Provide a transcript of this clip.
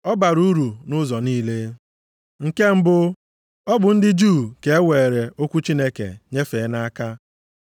Ọ bara uru nʼụzọ niile. Nke mbụ, ọ bụ ndị Juu ka e weere okwu Chineke nyefee nʼaka.